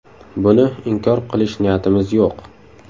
Buni inkor qilish niyatimiz yo‘q.